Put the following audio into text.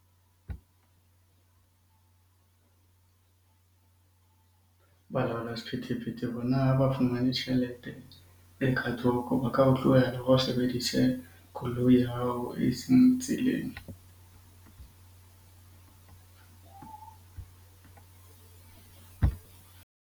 Balaola sephethephethe bona ha ba fumane tjhelete e ka thoko ba ka o tlohela hore o sebedise koloi ya hao eseng tseleng.